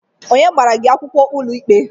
Onye gbara gi akwụkwọ n'ụlọikpe?